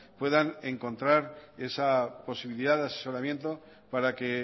puedan encontrar esa posibilidad de asesoramiento para que